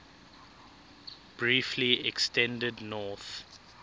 briefly extended north